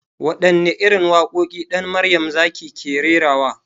Waɗanne irin waƙoƙi Ɗan marayan zaki ke rerawa?